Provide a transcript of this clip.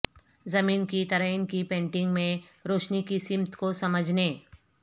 زمین کی تزئین کی پینٹنگ میں روشنی کی سمت کو سمجھنے